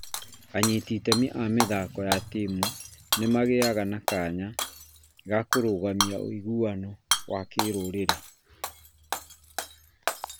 Anyiti itemi a mĩthako ya timu nĩ nagĩaga na kanya ga kũrũgamia ũiguano wa kĩrũrĩrĩ,